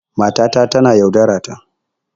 Matata tana yaudarata.